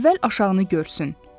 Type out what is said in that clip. əvvəl aşağıını görsün.